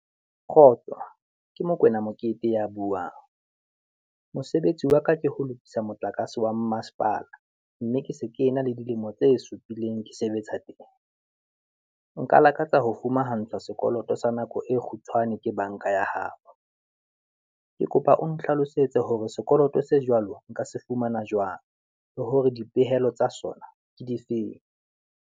Kgotso ke Mokoena Mokete ya buang, mosebetsi wa ka ke ho lokisa motlakase wa mmasepala, mme ke se ke ena le dilemo tse supileng ke sebetsa teng, nka lakatsa ho fumahantshwa sekoloto sa nako e kgutshwane ke banka ya hao. Ke kopa o nhlalosetse hore sekoloto se jwalo nka se fumana jwang, le hore dipehelo tsa sona ke difeng.